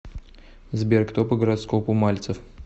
сбер кто по гороскопу мальцев